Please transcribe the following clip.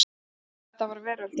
Þetta var veröldin.